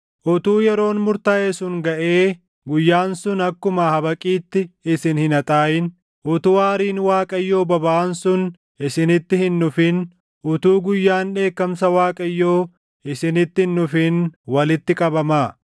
utuu yeroon murtaaʼe sun gaʼee guyyaan sun akkuma habaqiitti isin hin haxaaʼin, utuu aariin Waaqayyoo bobaʼaan sun isinitti hin dhufin, utuu guyyaan dheekkamsa Waaqayyoo isinitti hin dhufin walitti qabamaa.